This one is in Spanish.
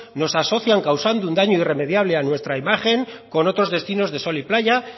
nos asocian causando un daño irremediable a nuestra imagen con otros destinos de sol y playa